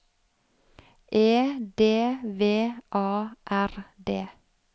E D V A R D